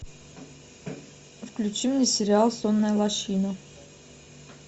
включи мне сериал сонная лощина